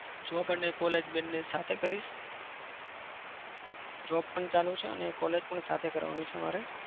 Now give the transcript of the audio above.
job અને college બંને સાથે કરીશ. job પણ ચાલું છે અને college પણ સાથે કરવાની છે મારે.